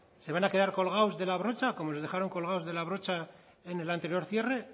se van a quedar colgados de la brocha como les dejaron colgados de la brocha en el anterior cierre